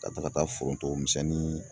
Ka taga fo foronto misɛnnin